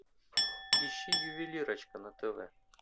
ищи ювелирочка на тв